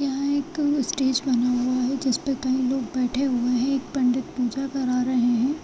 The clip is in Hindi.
यहाँ एक स्टेज बना हुआ है जिसपे कई लोग बैठे हुए हैं एक पंडित पूजा करा रहे है